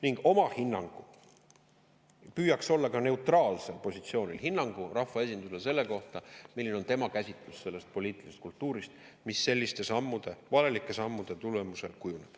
Ning oma hinnangu – püüdes olla neutraalsel positsioonil – rahvaesinduse kohta, milline on tema käsitlus sellest poliitilisest kultuurist, mis selliste valelike sammude tulemusel kujuneb.